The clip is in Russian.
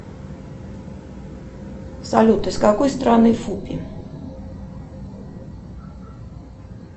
салют из какой стороны фупи